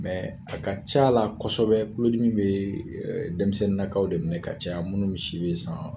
a ka c'a la kɔsɛbɛ tulodimi bee dɛmisɛnninnakaw de minɛ ka caya munnu be si be san